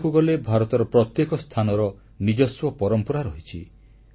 ଦେଖିବାକୁ ଗଲେ ଭାରତର ପ୍ରତ୍ୟେକ ସ୍ଥାନର ନିଜସ୍ୱ ପରମ୍ପରା ରହିଛି